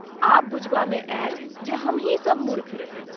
आब बुझबामे आयल जे हमहीं सब मूर्ख रही।